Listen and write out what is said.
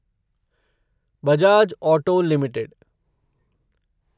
Bajaj auto limited